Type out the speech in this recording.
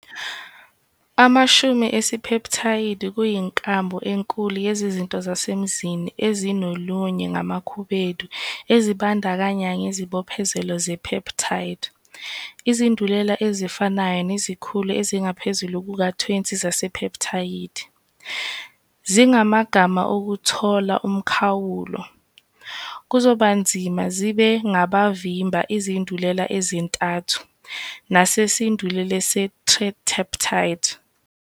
Amashumi esipeptayidi kuyinkambu enkulu yezizinto zasemanzini ezinolunye ngamakhubedu ezibandakanya ngezibophezelo zepeptide. Izindulela ezifanayo nezikhulu ezingaphezu kuka-20 zasepeptayidi zingamagama okuthola umkhawulo, kuzobanzima zibe ngabavimba, izindulela ezintathu, nesindulela ye-tetrapeptide.